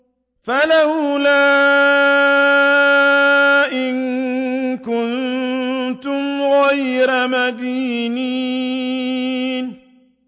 فَلَوْلَا إِن كُنتُمْ غَيْرَ مَدِينِينَ